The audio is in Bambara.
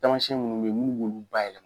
Taamasiyɛn minnu bɛ ye minnu b'olu bayɛlɛma.